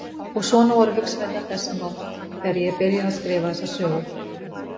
Og svona voru hugsanirnar þessa nótt þegar ég byrjaði að skrifa þessa sögu.